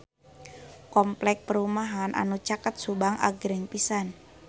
Kompleks perumahan anu caket Subang agreng pisan